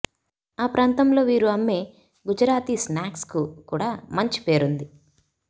ఆ ప్రాంతంలో వీరు అమ్మే గుజరాతీ స్నాక్స్కు కూడా మంచి పేరు ఉంది